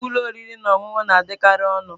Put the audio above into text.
Nnukwu ụlọ oriri na ọṅụṅụ na-adịkarị ọnụ.